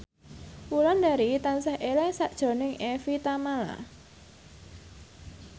Wulandari tansah eling sakjroning Evie Tamala